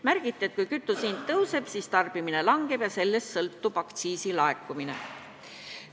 Märgiti, et kui kütuse hind tõuseb, siis tarbimine väheneb ja sellestki sõltub aktsiisi laekumine.